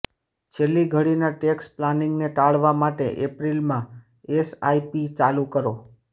છેલ્લી ઘડીના ટેક્સ પ્લાનિંગને ટાળવા માટે એપ્રિલમાં એસઆઇપી ચાલુ કરો